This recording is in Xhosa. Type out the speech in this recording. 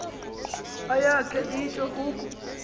ayakhe itsho uku